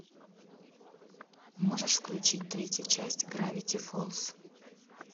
можешь включить третья часть гравити фолз